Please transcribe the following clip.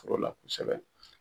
la kosɛbɛ.